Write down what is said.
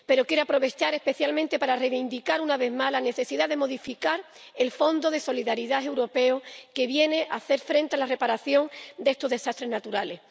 Pero quiero aprovechar especialmente para reivindicar una vez más la necesidad de modificar el Fondo de Solidaridad de la Unión Europea, que viene a hacer frente a la reparación de estos desastres naturales.